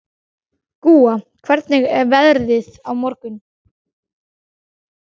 Gúa, hvernig er veðrið á morgun?